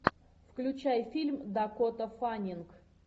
включай фильм дакота фаннинг